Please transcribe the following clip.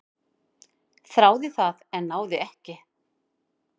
"""Þráði það, en náði ekki."""